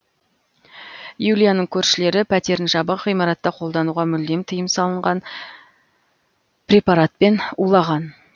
юлияның көршілері пәтерін жабық ғимаратта қолдануға мүлдем тыйым салынған препаратпен улаған